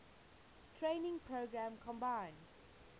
training program combined